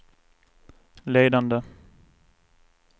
ledande